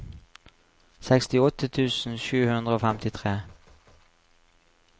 sekstiåtte tusen sju hundre og femtitre